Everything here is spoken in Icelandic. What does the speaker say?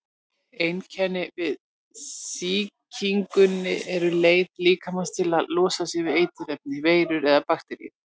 Einkennin við sýkingunni eru leið líkamans til að losa sig við eiturefni, veirur eða bakteríur.